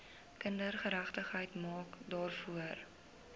kindergeregtigheid maak daarvoor